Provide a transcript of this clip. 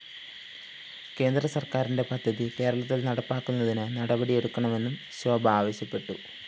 കേന്ദ്രസര്‍ക്കാരിന്റെ പദ്ധതി കേരളത്തില്‍ നടപ്പിലാക്കുന്നതിന് നടപടിയെടുക്കണമെന്നും ശോഭ ആവശ്യപ്പെട്ടു